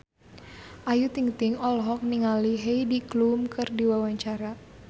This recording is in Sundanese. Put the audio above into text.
Ayu Ting-ting olohok ningali Heidi Klum keur diwawancara